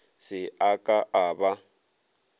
se a ka a ba